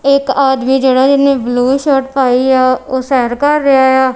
ਇੱਕ ਆਦਮੀ ਜਿਹੜਾ ਜਿੰਨੇ ਬਲੂ ਸ਼ਾਰਟ ਪਾਈ ਆ ਉਹ ਸੈਰ ਕਰ ਰਿਹਾ ਇਆ।